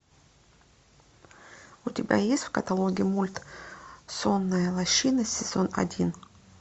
у тебя есть в каталоге мульт сонная лощина сезон один